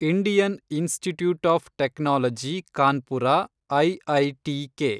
Indian Institute of Technology Kanpur IITK